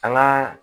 An ŋaa